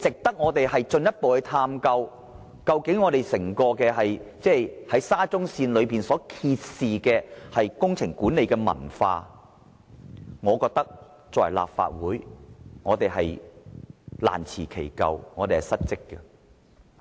如果我們未有進一步探究這種做法及沙中線所揭示的工程管理文化，作為立法會議員，我們是難辭其咎及失職的。